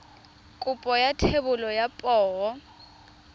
kopo ya thebolo ya poo